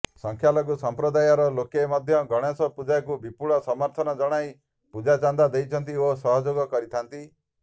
ସଂଖ୍ୟାଲଘୁ ସଂପ୍ରଦାୟର ଲୋକେ ମଧ୍ୟ ଗଣେଶ ପୂଜାକୁ ବିପୁଳ ସମର୍ଥନ ଜଣାଇ ପୂଜା ଚାନ୍ଦା ଦେଇଥାନ୍ତି ଓ ସହଯୋଗ କରିଥାନ୍ତି